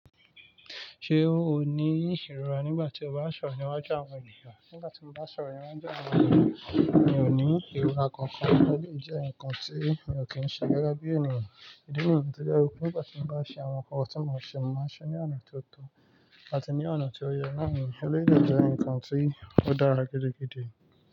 Ṣé o ní ìrora nígbà tí o bá ń sọ̀rọ̀ níwájú àwọn ènìyàn? Nígbà tí mo bá ń sọ̀rọ̀ níwájú àwọn ènìyàn, mi ò ní ìrora kankan. Eléyìí jẹ́ nǹkan tí mi ò kí ń ṣe gẹ́gẹ́ bí ènìyàn. Ìdíi ni yii to je wipé nígbà tí mo bá ṣe àwọn nǹkan tí mo ṣe, mo màá n ṣeé ní ọ̀nà tó tọ̀ àti ní ọ̀nà tí ó yẹ. Èleyií, de jẹ́ nǹkan tí ó dára gidigidi.